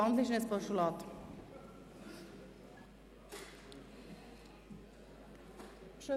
Wandeln Sie die Motion in ein Postulat um?